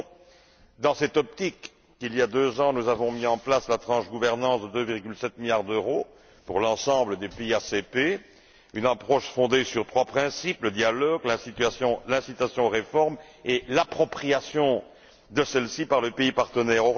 C'est donc dans cette optique qu'il y a deux ans, nous avons mis en place la tranche gouvernance de 2,7 milliards d'euros pour l'ensemble des pays ACP, une approche fondée sur trois principes le dialogue, l'incitation aux réformes et l'appropriation de celles ci par le pays partenaire.